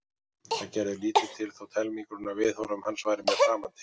Það gerði lítið til þótt helmingurinn af viðhorfum hans væru mér framandi.